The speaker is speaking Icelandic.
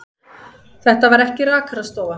Þetta var ekki rakarastofa.